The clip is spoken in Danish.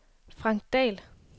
Frank Dahl